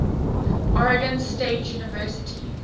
oregon state university